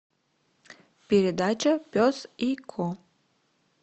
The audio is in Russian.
передача пес и ко